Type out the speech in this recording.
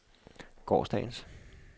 gårsdagens